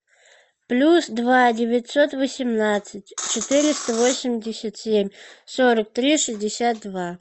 плюс два девятьсот восемнадцать четыреста восемьдесят семь сорок три шестьдесят два